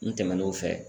N tɛmɛn'o fɛ